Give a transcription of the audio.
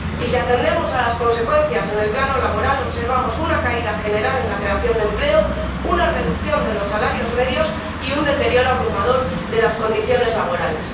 Y, si atendemos a las consecuencias en el plano laboral, observamos una caída general en la creación de empleo, una reducción de los salarios medios y un deterioro abrumador de las condiciones laborales.